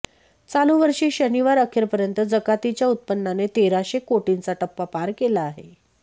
चालू वर्षी शनिवार अखेपर्यंत जकातीच्या उत्पन्नाने तेराशे कोटींचा टप्पा पार केला आहे